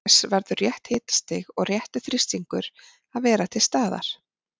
Auk þess verður rétt hitastig og réttur þrýstingur að vera til staðar.